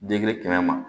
Den kelen kɛmɛ ma